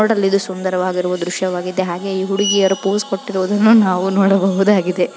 ನೋಡಲು ಸುಂದರವಾಗಿರುವ ದೃಶ್ಯವಾಗಿದೆ ಹಾಗೆ ಈ ಹುಡುಗಿಯರು ಪೋಸ್ ಕೊಟ್ಟಿರೋವುದನ್ನು ನಾವು ನೋಡಬಹುದಾಗಿದೆ.